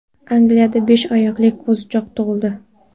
Angliyada besh oyoqli qo‘zichoq tug‘ildi.